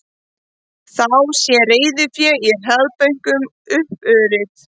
Þá sé reiðufé í hraðbönkum uppurið